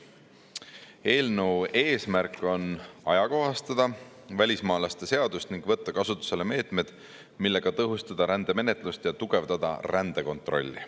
Eelnõu eesmärk on ajakohastada välismaalaste seadust ning võtta kasutusele meetmed, millega tõhustada rändemenetlust ja tugevdada rändekontrolli.